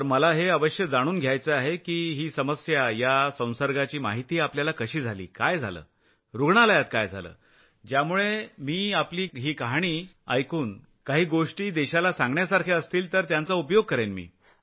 तर मला हे अवश्य जाणून घ्यायचं आहे की ही समस्या या संसर्गाची माहिती आपल्याला कशी झालीकाय झालंरूग्णालयात काय झालं ज्यामुळे मी आपले अनुभव ऐकून काही गोष्टी देशाला सांगण्यासारख्या असतील तर त्यांचा उपयोग मी करेन